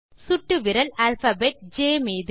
மீது சுட்டு விரல் அல்பாபெட் ஜ்